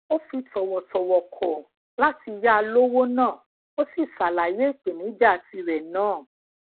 ó fi tòwòtòwò kò láti ya lowó náà ó sì ṣàlàyé ipenija tire naa